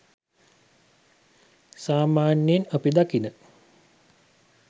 සාමාන්‍යයෙන් අපි දකින